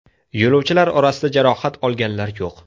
Yo‘lovchilar orasida jarohat olganlar yo‘q.